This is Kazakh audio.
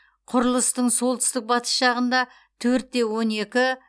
құрылыстың солтүстік батыс жағында төртте он екіх